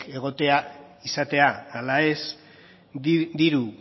izatea ala ez diru